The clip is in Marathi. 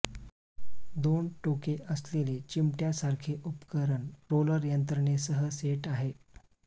दोन टोके असलेले चिमट्यासारखे उपकरण रोलर यंत्रणेसह ि सेट आहे